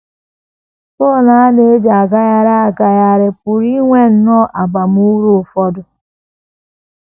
Fon a na - eji agagharị agagharị pụrụ inwe nnọọ abamuru ụfọdụ.